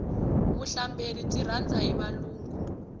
vuhlamberi byi rhandza hi valungu